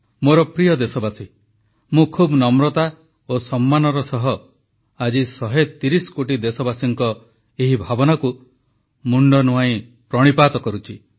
ମୋର ପ୍ରିୟ ଦେଶବାସୀଗଣ ମୁଁ ଖୁବ୍ ନମ୍ରତା ଓ ସମ୍ମାନର ସହ ଆଜି 130 କୋଟି ଦେଶବାସୀଙ୍କ ଏହି ଭାବନାକୁ ମୁଣ୍ଡ ନୁଆଁଇ ପ୍ରଣିପାତ କରୁଛି